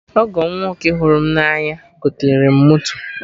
Ọgọ m nwoke m hụrụ na anya goterem moto